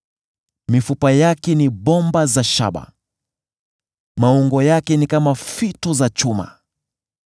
Mifupa yake ni bomba za shaba, maungo yake ni kama fito za chuma.